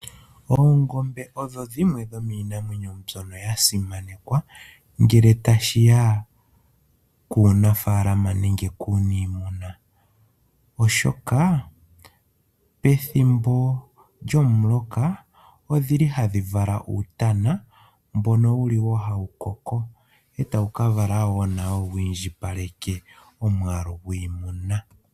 Oongombe odho dhimwe dhomiinamwenyo mbyono ya simanekwa ngele tashi ya kuunafaalama nenge kuuniimuna, oshoka pethimbo lyomuloka ohadhi vala uutana, mbono hawu koko e tawu ka vala wo wi indjipaleke omwaalu gwiimuna.